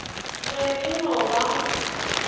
be e e no ba